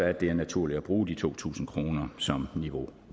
at det er naturligt at bruge de to tusind kroner som niveau